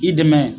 I dɛmɛ